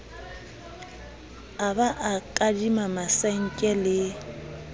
a ba kadima masenke le